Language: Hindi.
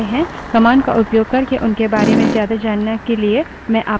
man command का उपयोग करके उनके बारे में ज्यादा जानने के लिए मैं आपको प्रोत्साहित करती हूँ